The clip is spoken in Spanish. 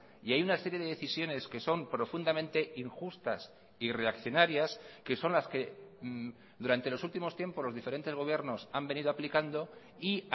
y hay una serie de decisiones que son profundamente injustas y reaccionarias que son las que durante los últimos tiempos los diferentes gobiernos han venido aplicando y